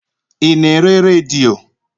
Ị na-ere redio?